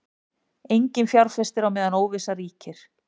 Enginn fjárfestir á meðan óvissa ríkir